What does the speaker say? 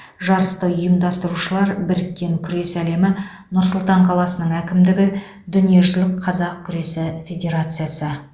жарысты ұйымдастырушылар біріккен күрес әлемі нұр сұлтан қаласының әкімдігі дүниежүзілік қазақ күресі федерациясы